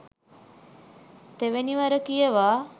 තෙවැනි වර කියවා